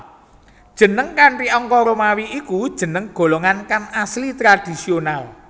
Jeneng kanthi angka Romawi iku jeneng golongan kang asli tradhisional